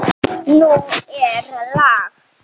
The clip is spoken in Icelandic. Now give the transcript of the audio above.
Nú er lag!